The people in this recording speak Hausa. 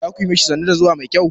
Za ku yi ma shi sannu da zuwa mai kyau?